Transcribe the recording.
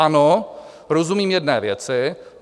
Ano, rozumím jedné věci.